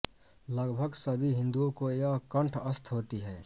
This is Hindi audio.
लगभग सभी हिन्दुओं को यह कण्ठस्थ होती है